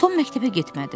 Tom məktəbə getmədi.